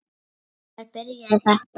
Hvenær byrjaði þetta?